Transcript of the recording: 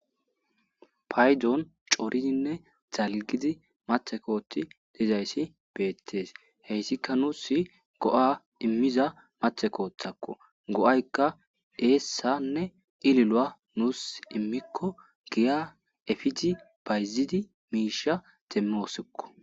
Paydon corizinne dalgidi mathe koothi dizayssi beeththees; heyssika nuussi go7a immiza mathe kooththakko; go7aykka eessanne ililuwa nuussi immikko giya efidi bayzidi miishsha demmoosikko.